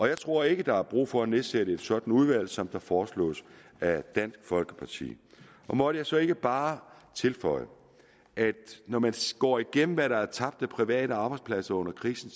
jeg tror ikke at der er brug for at nedsætte et sådant udvalg som det foreslås af dansk folkeparti må jeg så ikke bare tilføje at når man går igennem hvad der er tabt af private arbejdspladser under krisen